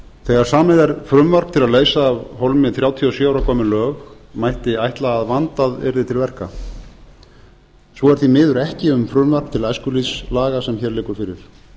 þegar samið er frumvarp til að leysa af dæmi þrjátíu og sjö ára gömul lög mætti ætla að vandað yrði til verka svo er því miður ekki um frumvarp til æskulýðslaga sem hér liggur fyrir